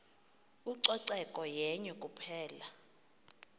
ucoceko yenye kuphela